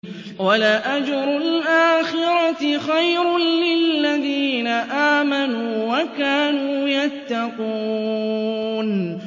وَلَأَجْرُ الْآخِرَةِ خَيْرٌ لِّلَّذِينَ آمَنُوا وَكَانُوا يَتَّقُونَ